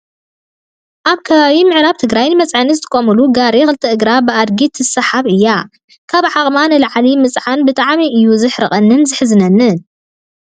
ኣብ ከባቢ ምዕራብ ትግራይ ንመፅዓኒ ዝጥቀሙሉ ጋሪ ክልተ እግራ ብኣድጊ ትሳሓብ እያ። ካብ ዓቅማ ንላዕሊ ምፅዓን ብጣዕሚ እያ ዝሕርቀካን ዝሕዝነካን።